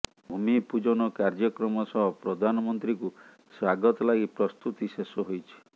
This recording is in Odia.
ଭୂମି ପୂଜନ କାର୍ଯ୍ୟକ୍ରମ ସହ ପ୍ରଧାନମନ୍ତ୍ରୀଙ୍କୁ ସ୍ୱାଗତ ଲାଗି ପ୍ରସ୍ତୁତି ଶେଷ ହୋଇଛି